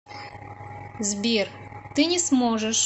сбер ты не сможешь